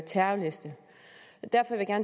terrorliste derfor vil jeg